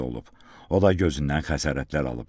O da gözündən xəsarətlər alıb.